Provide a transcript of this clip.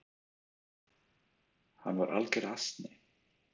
Hann var alger asni!